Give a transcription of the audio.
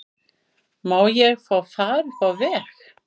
Má ég fá far upp á veg?